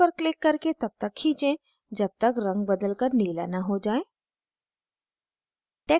इस पर click करके तब तक खींचे जब तक रंग बदलकर नीला न हो जाए